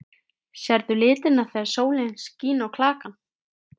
Sérðu litina þegar sólin skín á klakann?